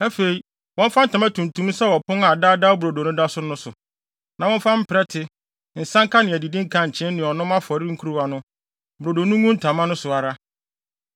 “Afei, wɔmfa ntama tuntum nsɛw ɔpon a Daa Daa Brodo no da so no so; na wɔmfa mprɛte, nsanka, ne adidi nkankyee ne ɔnom afɔre nkuruwa no; brodo no ngu ntama no so ara.